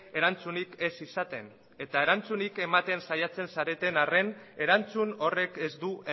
erantzunik ez izaten eta erantzunik ematen saiatzen zareten arren erantzun horrek ez du